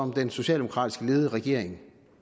ja